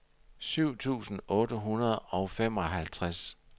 syv tusind otte hundrede og femoghalvtreds